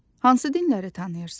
Hansı dinləri tanıyırsan?